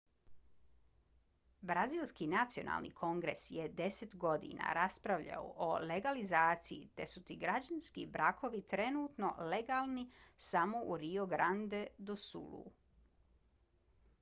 brazilski nacionalni kongres je 10 godina raspravljao o legalizaciji te su ti građanski brakovi trenutno legalni samo u rio grande do sulu